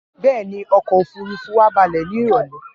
Bẹ́ẹ̀ ni, ọkọ̀-òfurufú wa balẹ̀ ní ìrọ́lẹ́.